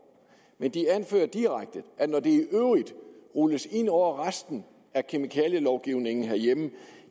men de anfører direkte at når det rulles ind over resten af kemikalielovgivningen herhjemme